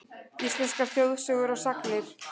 Íslenskar þjóðsögur og sagnir.